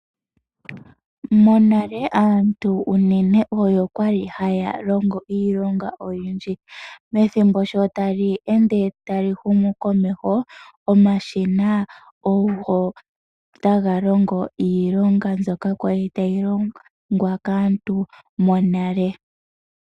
Monale aantu unene oyo kwali haya longo iilonga oyindji. Methimbo sho tali ende tali humu komeho, omashina ogo taga longo iilonga mbyoka kwali tayi longwa kaantu monale.